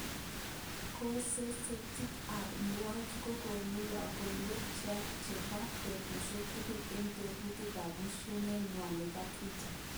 Gosetit ab Iwachu kokonu lokowek chebo betushek tugul en tobuti ak musoknotet nywan nabo Twitter